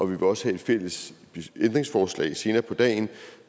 vil også have et fælles ændringsforslag senere på dagen